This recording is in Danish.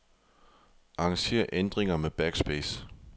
Arranger ændringer med backspace.